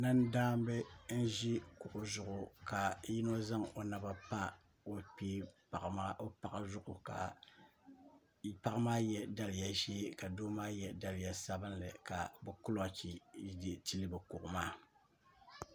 nandaamba n-ʒi kuɣu zuɣu ka yino zaŋ o naba pa o paɣa zuɣu ka paɣa maa ye daliya ʒee ka doo maa ye daliya sabinlli ka bɛ kulɔɔchi tili bɛ kuɣu maaEdit